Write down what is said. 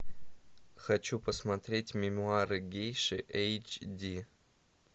хочу посмотреть мемуары гейши эйч ди